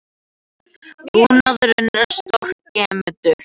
Búnaðurinn er stórskemmdur